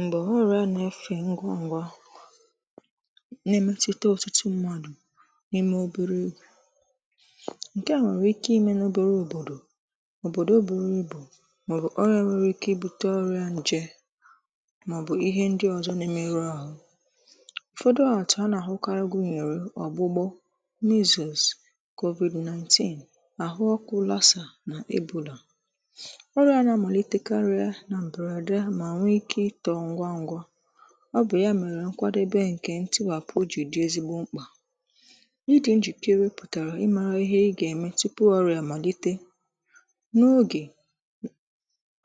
Mgbe ọrịa na-efe ngwa ngwa na-emetụta ọtụtụ mmadụ n'ime obere ngwa. Nke a nwere ike ime ya n'obere obodo, obodo oboro ibu, maọbụ onye nwere ike ibute ọrịa nje maọbụ ihe ndị ọzọ na-emebu ahụ́. Ụfọdụ ọrịa a na-ahụkarị gụnyere ọgbụgbụ, measles, COVID-19, ọrịa ọkụ lasa na ibù bula. Ọ bụ ya mere nkwadebe nke ntụziaka bu ezigbo mkpa. Ịdị njikere pụtara na ị maara ihe ị ga-eme tupu ọrịa amalite. N’oge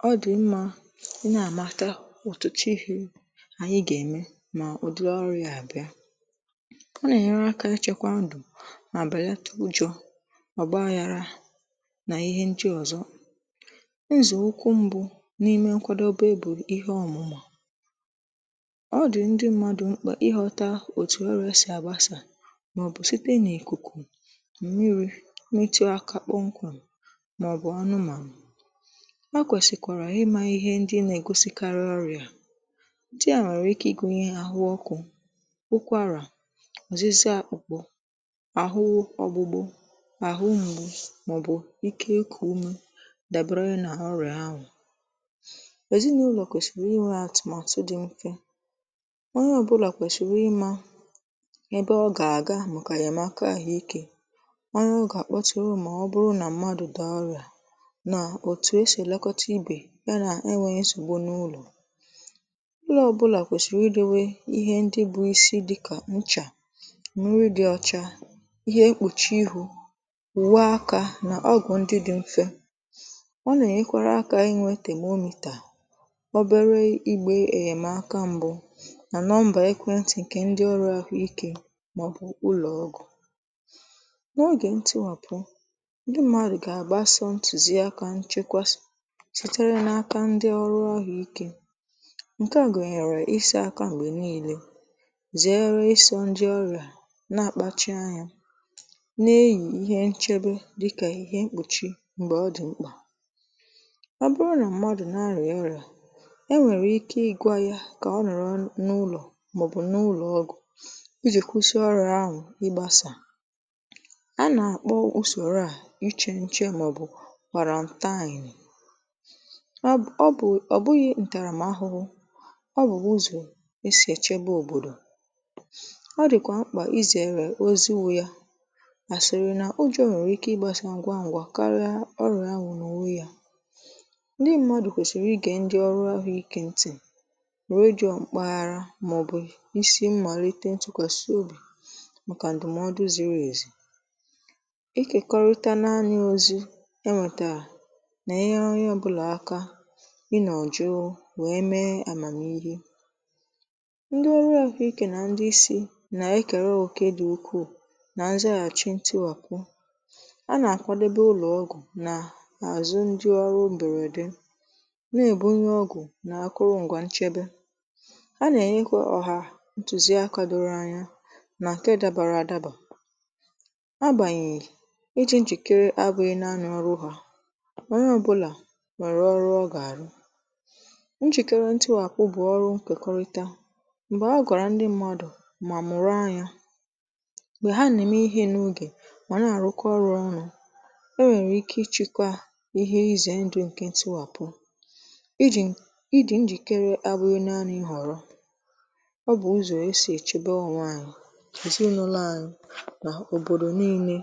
ọ dị mma ị na-amata ụtụtụ ihe anyị ga-eme, ma ụdị ọrụ a abịa, ọ na-enyere aka achịkwa ndụ. Ma abalị a taa, ụjọ ọba yára na ihe ndị ọzọ e zùrù, ukwu mbụ n'ime nkwadebe bụ na ọ dị mkpa ka ndị mmadụ ghọta otu ọrịa si agbasa. Ọrịa nwere ike ịgbasa site n'ikuku, mmiri, imetu aka, kpọnkwà, maọbụ anụmanụ. A kwesịkwara imata ihe ndị na-egosipụta ọrịa dị: ahụ ọkụ, ukwára, ozizie, akpụkpọ ahụ, ọgbụgba ahụ, mwute, ike ikù ume, wdg. Dabere na ọrịa, anwụ ọnwụ abụkwaghị ihe e si eleghara anya. Ọ dịkwa mkpa ịma ebe ọ ga-aga maka enyemaka ahụike. Ọ bụrụ na mmadụ dị ọrịa, otu esi elekọta ibe ya na e nwee nsịgụ n'ụlọ, ụlọ ọ bụla kwesiri idebe ihe dị ka nchaa, nri dị ọcha, ihe mkpuchi ihu, wusaa aka, na ọgụ ndị dị mfe. Ọ na-enyekwara aka inweta tebụl ozi na nọmba ekwentị nke ndị ọrụ ahụike maọbụ ụlọ ọgwụ. N’oge ntịwapụ, ndị mmadụ ga-agbaso ntuziaka nchekwasị sitere n'aka ndị ọrụ ahụike. Nke a gụnyere isi aka mgbe niile, zere iso ndị ọrịa, na-akpachị anya n’enyi ihe nchebe dị ka ihe mkpuchi ihu mgbe ọ dị mkpa. Nke a nọrọ n'ụlọ maọbụ n'ụlọ ọgụ iji kwụsị mgbasa ọrịa. A na-akpọ usoro a iche nche, maọbụ kwàrà nta. Anyị na-ajụ: ọ bụ ọrịa nta, ma ọ bụ ụzọ esi echebe obodo? Ọ dịkwa mkpa izere itepụ oziwà, ya bụ asịrị n'ụdị ọ na-akwụ na ụwu ya. Red John kpaghara maọbụ isi mmalite ntụkwasị obi maka ndụmọdụ ziri ezi. Ịkekọrịta anya ozi enwetara na ihe onye ọ bụla aka inọ jụọ, wee mee amamihe. Ndị ọrụ ahụike na ndị isi na-ekere oke dị ukwuu na nzaghachi ntịwapụ. A na-akwadebe ụlọ ọgụ na azù ndị ọrụ mberede. Ha na-enyekwa ọha ntuziaka doro anya. Nke dabara adaba. Agbanyeghi, ịdị njikere abụghị naanị ọrụ ha. Ọ bụ ọrụ onye ọbụla. Ọ ga-ara njikere. Ntịwapụ bụ ọrụ nkekọrịta. Mgbe agaara ndị mmadụ, ma mụrụ anya be ha, na-eme ihe n’oge, ma na-arụkọ ọrụ ọnụ, e nwere ike ịchịkwa ihe. Ichebe ndụ n'oge ntịwapụ bụ ụzọ esi echebe onwe anyị, ezinụlọ anyị, na obodo niile.